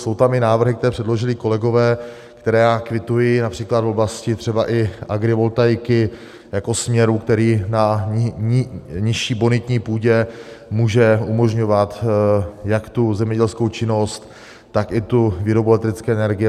Jsou tam i návrhy, které předložili kolegové, které kvituji, například v oblasti třeba i agrivoltaiky jako směru, který na nižší bonitní půdě může umožňovat jak tu zemědělskou činnost, tak i tu výrobu elektrické energie.